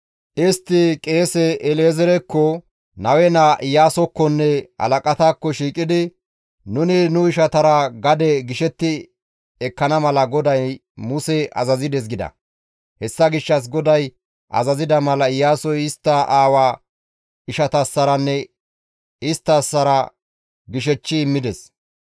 Istta qeese El7ezeerekko, Nawe naa Iyaasokkonne halaqataakko shiiqidi, «Nuni nu ishatara gade gishetti ekkana mala GODAY Muse azazides» gida. Hessa gishshas GODAY azazida mala Iyaasoy istta aawaa ishatassaranne isttasara gishechchi immides.